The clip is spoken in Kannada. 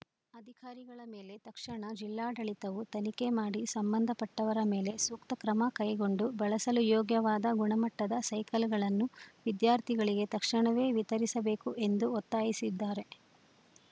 ಅಧಿಕಾರಿಗಳ ಮೇಲೆ ತಕ್ಷಣ ಜಿಲ್ಲಾಡಳಿತವು ತನಿಖೆ ಮಾಡಿ ಸಂಬಂಧ ಪಟ್ಟವರ ಮೇಲೆ ಸೂಕ್ತ ಕ್ರಮ ಕೈಗೊಂಡು ಬಳಸಲು ಯೋಗ್ಯವಾದ ಗುಣಮಟ್ಟದ ಸೈಕಲ್‌ಗಳನ್ನು ವಿದ್ಯಾರ್ಥಿಗಳಿಗೆ ತಕ್ಷಣವೇ ವಿತರಿಸಬೇಕು ಎಂದು ಒತ್ತಾಯಿಸಿದ್ದಾರೆ